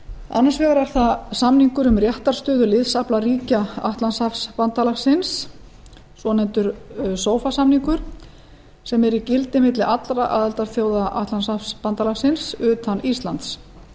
annars vegar er það samningur um réttarstöðu liðsafla ríkja atlantshafsbandalagsins svonefndur sofa samningur sem er í gildi milli allra aðildarþjóða atlantshafsbandalagsins utan íslands